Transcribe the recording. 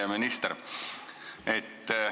Hea minister!